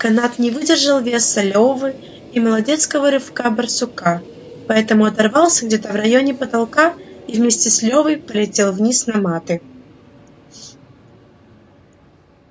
канат не выдержал веса лёвы и молодецкого рывка барсука поэтому оторвался где-то в районе потолка и вместе с лёвой полетел вниз на маты